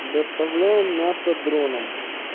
доставляем мясо дроном